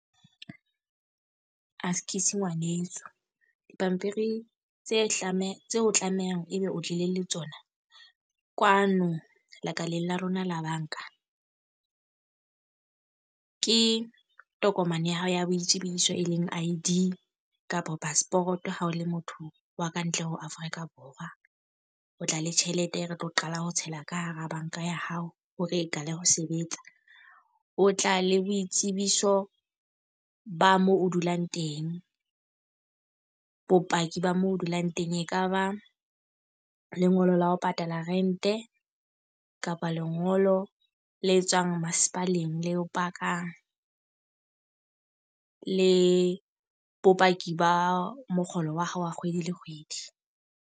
Askies ngwaneso, dipampiri tse hlame tseo tlamehang e be o tlile le tsona kwano lekaleng la rona la banka. Ke tokomane ya hao ya boitsebiso e leng I_D kapa passport ha o le motho wa ka ntle ho Afrika Borwa. O tla le tjhelete e re tlo qala ho tshela ka hara banka ya hao hore e qala ho sebetsa. O tla le boitsebiso ba mo o dulang teng. Bopaki ba moo o dulang teng, e kaba lengolo la ho patala rented, kapa lengolo le tswang masepaleng le o pakang. Le bopaki ba mokgolo wa hao wa kgwedi le kgwedi.